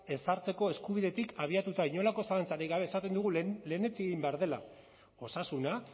ezartzeko eskubidetik abiatuta inolako zalantzarik gabe esaten dugu lehenetsi egin behar dela osasuna